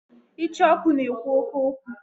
Icheoku na-ekwu oke okwu.